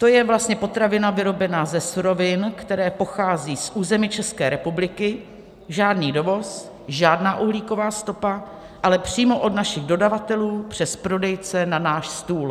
To je vlastně potravina vyrobená ze surovin, které pocházejí z území České republiky, žádný dovoz, žádná uhlíková stopa, ale přímo od našich dodavatelů přes prodejce na náš stůl.